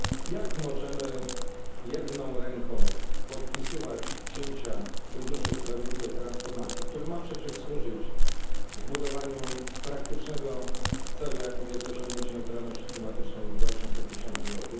Jak możemy jedną ręką podpisywać cięcia w funduszu sprawiedliwej transformacji, który ma przecież służyć zbudowaniu praktycznego celu, jakim jest osiągnięcie neutralności klimatycznej w 2050 r.,